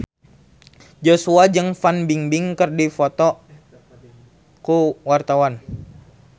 Joshua jeung Fan Bingbing keur dipoto ku wartawan